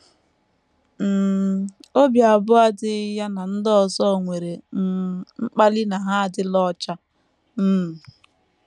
“ um Obi abụọ adịghị ya na ndị ọzọ nwere um mkpali na ha adịla ọcha. um